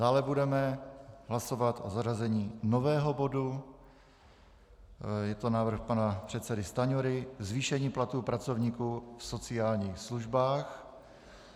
Dále budeme hlasovat o zařazení nového bodu, je to návrh pana předsedy Stanjury, zvýšení platu pracovníků v sociálních službách.